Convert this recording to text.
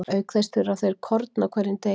Auk þess þurfa þeir korn á hverjum degi.